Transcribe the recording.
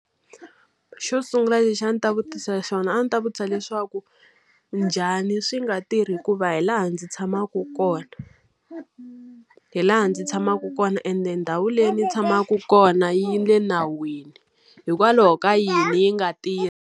Xo sungula lexi a ndzi ta vutisa xona a ndzi ta vutisa leswaku, njhani swi nga tirhi hikuva hi laha ndzi tshamaka kona? Hi laha ndzi tshamaka kona ende ndhawu leyi ndzi yi tshamaka kona yi le nawini, hikwalaho ka yini yi nga tirhi?